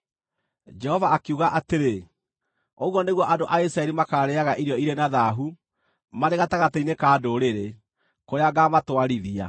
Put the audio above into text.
Jehova akiuga atĩrĩ, “Ũguo nĩguo andũ a Isiraeli makaarĩĩaga irio irĩ na thaahu marĩ gatagatĩ-inĩ ka ndũrĩrĩ, kũrĩa ngaamatwarithia.”